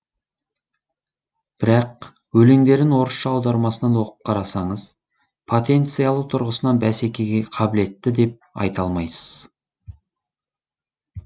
бірақ өлеңдерін орысша аудармасынан оқып қарасаңыз потенциялы тұрғысынан бәсекеге қабілетті деп айта алмайсыз